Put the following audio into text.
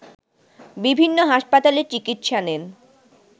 বিভিন্ন হাসপাতালে চিকিৎসা নেন